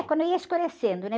É, quando ia escurecendo, né?